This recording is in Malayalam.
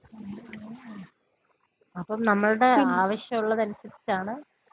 ഉം ഉം ഉം. അപ്പം നമ്മളുടെ ആവശ്യം ഉള്ളതനുസരിച്ചാണ്.